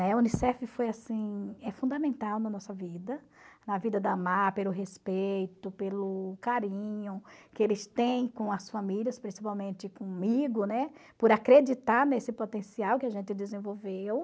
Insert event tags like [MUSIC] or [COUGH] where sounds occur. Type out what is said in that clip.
[UNINTELLIGIBLE] O Unicef foi assim é fundamental na nossa vida, na vida da AMAR, pelo respeito, pelo carinho que eles têm com as famílias, principalmente comigo, né, por acreditar nesse potencial que a gente desenvolveu.